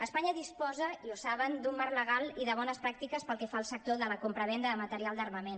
espanya disposa i ho saben d’un marc legal i de bones pràctiques pel que fa al sector de la compravenda de material d’armament